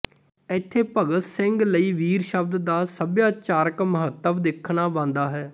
ਇੱਥੇ ਭਗਤ ਸਿੰਘ ਲਈ ਵੀਰ ਸ਼ਬਦ ਦਾ ਸਭਿਆਚਾਰਕ ਮਹੱਤਵ ਦੇਖਣਾ ਬਣਦਾ ਹੈ